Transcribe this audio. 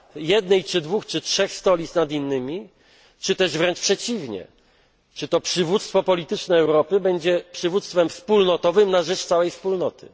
jednej czy dwóch, czy trzech stolic nad innymi, czy też wręcz przeciwnie, to przywództwo polityczne Europy będzie przywództwem wspólnotowym na rzecz całej Wspólnoty?